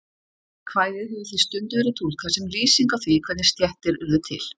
Kvæðið hefur því stundum verið túlkað sem lýsing á því hvernig stéttir urðu til.